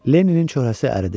Leninin çöhərəsi əridi.